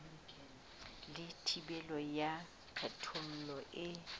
le thibelo ya kgethollo e